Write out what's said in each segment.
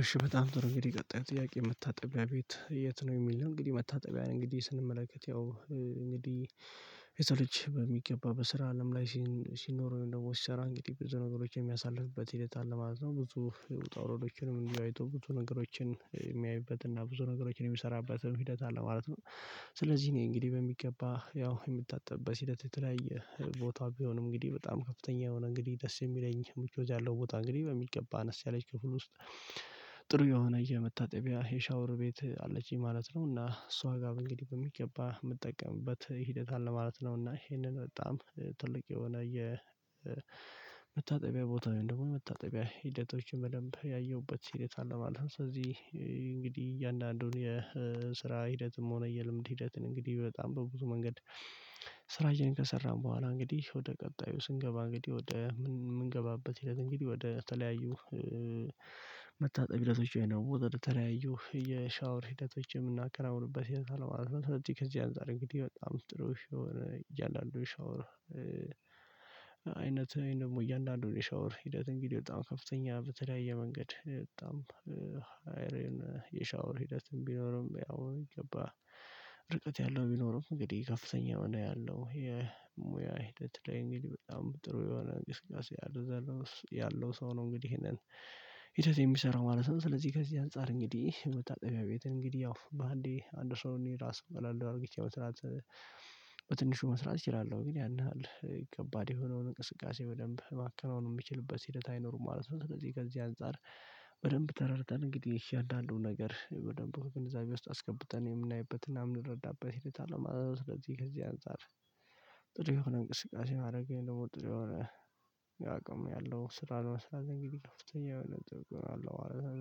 እሺ በጣም ጥሩ እንግዲህ ቀጣይው ጥያቄ መታጠቢያ ቤት የት ነው? የሚለው እንግዲህ መታጠቢያ ነው እንግዲህ ስንመለከት ያው እንግዲህ ሊሰለች በሚገባ በስራ አለም ላይ ሲኖር ወይም ደግሞ ሲሰራ እንግዲህ ብዙ ነገሮች የሚያሳልፍበት ሂደት አለ ማለት ነው። ብዙ ውጣው ውረዶችንም እንዲሁ አይቶ ብዙ ነገሮችን የሚያይበትና ብዙ ነገሮችን የሚሰራበትን ሂደት አለ ማለት ነው። ስለዚህ እኔ እንግዲህ በሚገባ ያው የምታጠብበት ሂደት የተለያየ ቦታ ቢሆንም እንግዲህ በጣም ከፍተኛ የሆነ እንግዲህ ደስ የሚለኝ ምቾት ያለው ቦታ እንግዲህ በሚገባ አነስ ያለች ክፍል ውስጥ ጥሩ የሆነ የመታጠቢያ የሻወር ቤት አለችኝ ማለት ነው። እና እሷ ጋር እንግዲህ በሚገባ የምጠቀምበት ሂደት አለ ማለት ነው። እና ይሄንን በጣም ትልቅ የሆነ የ መታጠቢያ ቦታ ወይም ደግሞ የመታጠቢያ ሂደቶችን በደንብ ያየሁበት ሂደት አለ ማለት ነው። ስለዚህ እንግዲህ እያንዳንዱን የስራ ሂደትም ሆነ የልምድ ሂደትን እንግዲህ በጣም በብዙ መንገድ ስራዬን ከሰራሁ በኋላ እንግዲህ ወደ ቀጣዩ ስንገባ እንግዲህ ወደ ምንገባበት ሂደት እንግዲህ ወደ ተለያዩ መታጠቢያዎቹ ነው የተለያዩ የሻወር ሂደቶች የምናከናውኑበት ሂደት አለ ማለት ነው። ስለዚህ ከዚህ አንፃር እንግዲህ በጣም ጥሩሽ የሆነ እያንዳንዱ ሻወር አይነት እያንዳንዱ ነው የሻወር ሂደት እንግዲህ በጣም ከፍተኛ በተለያየ መንገድ በጣም አይረን የሻወር ሂደትም ቢኖርም ያው በሚገባ ርቀት ያለው ቢኖርም እንግዲህ ከፍተኛ ሚና ያለው የሙያ ሂደት ላይ እንግዲህ በጣም ጥሩ የሆነ እንቅስቃሴ ያለው ያለው ሰው ነው እንግዲህ ይሄንን ሂደት የሚሰራው ማለት ነው። ስለዚህ ከዚህ አንፃር እንግዲህ መታጠቢያ ቤት እንግዲህ ያው በአንዴ አንድ ሰው እኔ ራሱ እባላለሁ አድርጊቻው በትንሹ መስራት እችላለሁ ግን ያን ያህል ከባድ የሆነውን እንቅስቃሴ በደንብ ማከናወን የሚችልበት ሂደት አይኖሩም ማለት ነው። ከዚህ ከዚህ አንፃር በደንብ ተረድተን እንግዲህ እያንዳንዱ ነገር በደንብ ግንዛቤ ውስጥ አስገብተን የምናይበትና የምንረዳበት ሂደት አለ ማለት ነው። ስለዚህ ከዚህ አንፃር ጥሩ የሆነ እንቅስቃሴ ማድረግ ወይም ደግሞ ጥሩ የሆነ ያው አቅም ያለው ስራ ለመስራት እንግዲህ ከፍተኛ የሆነ ጥብቅ ነው አለው ማለት ነው።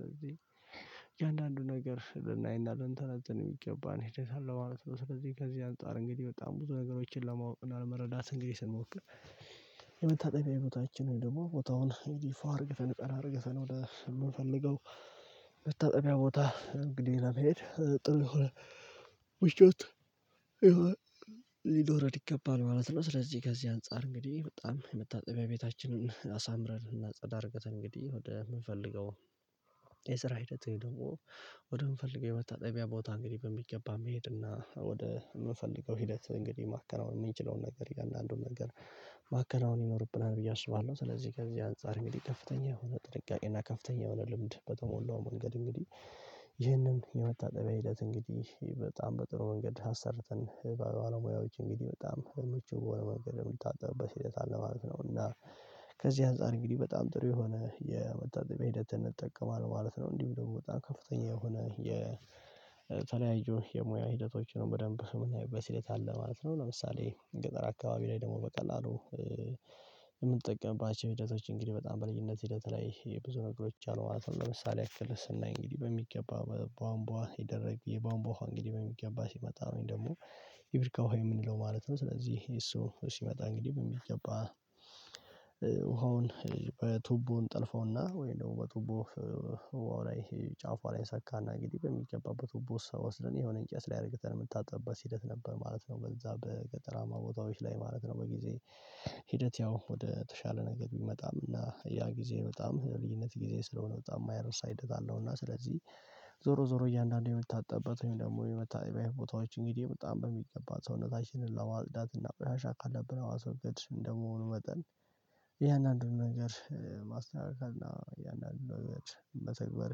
ስለዚህ የአንዳንዱ ነገር ስልና ልንተናተን የሚገባን ሂደት አለ ማለት ነው። ስለዚህ ከዚህ አንፃር እንግዲህ በጣም ብዙ ነገሮችን ለማወቅ እና ለመረዳት እንግዲህ ስንሞክር የመታጠቢያ ቦታችንን ወይም ደግሞ ቦታውን የዲፋ አድርገህ ቀን አድርገህ ቀን ወደ የምንፈልገው መታጠቢያ ቦታ እንግዲህ ለመሄድ ጥሩ የሆነ ምቾት ሊኖረን ይገባል ማለት ነው። ስለዚህ ገዚህ አንፃር እንግዲህ በጣም መታጠቢያ ቤታችንን አሳምረን እና ጸዳ አድርገን እንግዲህ ወደምንፈልገው የስራ ሂደት ወይ ደግሞ ወደምንፈልገው የመታጠቢያ ቦታ እንግዲህ በሚገባ መሄድና ወደ የምንፈልገው ሂደት እንግዲህ ማከናወን የምንችለውን ነገር እያንዳንዱን ነገር ማከናወን ይኖርብናል ብዬ አስባለሁ። ስለዚህ ከዚህ አንፃር እንግዲህ ከፍተኛ የሆነ ጥንቃቄ እና ከፍተኛ የሆነ ልምድ በተሞላው መንገድ እንግዲህ ይህንን የመታጠቢያ ሂደት እንግዲህ በጣም በጥሩ መንገድ አሰርተን ባለ ሙያዎች እንግዲህ በጣም ምቹ በሆነ መንገድ የሚታጠቡበት ሂደት አለማለት ነው። እና ከዚህ አንፃር እንግዲህ በጣም ጥሩ የሆነ የመታጠቢያ ሂደት እንጠቀማለን ማለት ነው። እንዲሁ ደግሞ በጣም ከፍተኛ የሆነ የተለያየ የሙያ ሂደቶችን በደንብ የምናይበት ሂደት አለ ማለት ነው። ለምሳሌ ገጠር አካባቢ ላይ ደግሞ በቀላሉ የምንጠቀምባቸው ሂደቶች እንግዲህ በጣም በልዩነት ሂደት ላይ የብዙ ነገሮች ማለት ነው ለምሳሌ ያክል ስናይ እንግዲህ በሚገባ በቧንቧ ይደረግ የባንቧ ውሃ እንግዲህ በሚገባ ሲመጣ ወይም ደግሞ የብሪካ ውሃ የምንለው ማለት ነው። ስለዚህ እሱ ሲመጣ እንግዲህ በሚገባ ዉሃውን በቱቦ እንጥልፈውና ወይ ደግሞ በቱቦ ላይ ጫፏ ላይ እንሰካና እንግዲህ በሚገባበት ቱቦ ሰው ወስደን የሆነ እንጨት ላይ አድርገት የምታጣበት ሲሄድ ነበር ማለት ነው። ከዛ በገጠራማ ቦታዎች ላይ ማለት ነው በጊዜ ሂደት ያው ወደ ተሻለ ነገር ቢመጣም እና ያ ጊዜ በጣም ልዩነት ጊዜ ስለሆነ በጣም የማይረሳ ሂደት አለው። እና ስለዚህ ዞሮ ዞሮ እያንዳንዱን የምታጣበት ወይም ደግሞ የመታጠቢያ ቦታዎች እንግዲህ በጣም በሚገባ ሰውነታችንን ለዋጽዳትና እና ቆሻሻ ካለብን ለማስወገድ እንደመሆኑ መጠን እያንዳንዱን ነገር ማስተካከል እና እያንዳንዱን ነገር መተግባር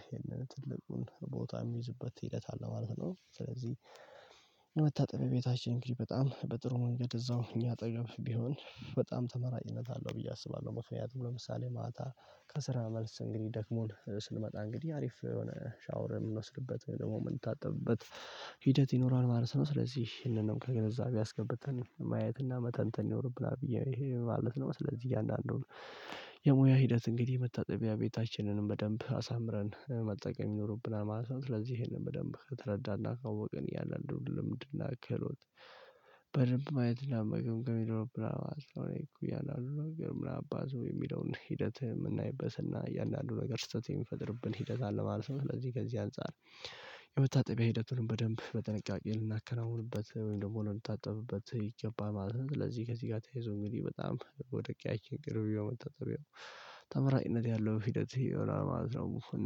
ይሄንን ትልቁን ቦታ የሚይዝበት ሂደት አለ ማለት ነው። ስለዚህ የመታጠብያ ቤታችን እንግዲህ በጣም በጥሩ መንገድ እዛው እኛ አጠገብ ቢሆን በጣም ተመራጭነት አለው ብዬ አስባለሁ። ምክናያቱም ለምሳሌ ማታ ከስራ መልስ እንግዲህ ደክሞን ስንመጣ እንግዲህ አሪፍ የሆነ ሻወር የምንወስድበት ወይም ደግሞ የምንታጠብበት ሂደት ይኖረዋል ማለት ነው። ስለዚህ ይሄንንም ከግንዛቤ አስገብተን ማየትና መተንተን ይኖርብናል ብዬ ይሄ ማለት ነው። ስለዚህ እያንዳንዱን የሙያ ሂደት እንግዲህ መታጠቢያ ቤታችንንም በደንብ አሳምረን መጠቀም ይኖርብናል ማለት ነው። ስለዚህ ይሄንን በደንብ ከተረዳና ካወቅን እያንድንድ ልምድ እና ክህሎት በደንብ ማየት እና መገምገም ይኖርብናል ማለት ነው። እያንዳንዱን ነገር ምናባቱ የምንልበትር ምናምን አባዞ የሚለውን ሂደት የምናይበትና እያንዳንዱ ነገር ስህተት የምንፈጥርብን ሂደት አለ ማለት ነው። ስለዚህ ከዚህ አንፃር የመታጠቢያ ሂደቱንም በደንብ በጥንቃቄ ልናከናውንበት ወይም ደግሞ ልንታጠብበት ይገባ ማለት ነው። ስለዚህ ከዚህ ጋር ተያይዞ እንግዲህ በጣም ወደ ቂያችን ቅርብ የመታጠቢያው ተመራጭነት ያለው ሂደት ይሆናል ማለት ነው።